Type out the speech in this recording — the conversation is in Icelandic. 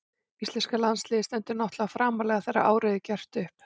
Íslenska landsliðið stendur náttúrlega framarlega þegar árið er gert upp.